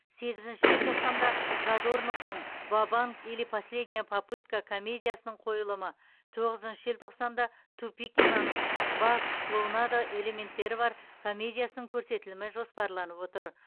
сегізінші желтоқсанда задорновтың вабанк или последняя попытка комедиясының қойылымы тоғызыншы желтоқсанда тупикинаның ба клоунада элементтері бар комедиясының көрсетілімі жоспарланып отыр